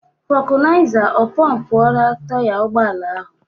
Vokunaiza ọ pompuora taya ụgbọala ahụ?